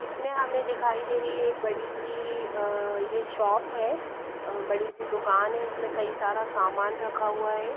इसमें हमें दिखाई दे रही है एक बड़ी सी अह ये शॉप है अह बड़ी सी दुकान है उसमें कई सारा सामान रखा हुआ है।